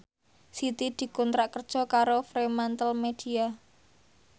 Siti dikontrak kerja karo Fremantlemedia